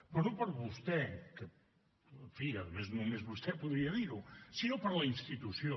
però no per vostè que en fi a més només vostè podria dir ho sinó per la institució